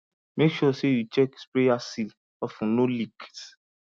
make sure say you check sprayer seal of ten no leaks